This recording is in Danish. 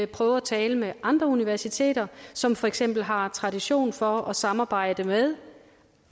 prøve at tale med andre universiteter som for eksempel har tradition for at samarbejde med